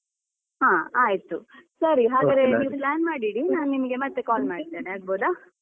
ಹಾ ಆಯ್ತು ಸರಿ ಹಾಗಾದ್ರೆ ನೀವ್ plan ಮಾಡಿ ಇಡಿ. ನಾನ್ ನಿಮ್ಗೆ ಮತ್ತೆ call ಮಾಡ್ತೇನೆ ಆಗ್ಬೋದ.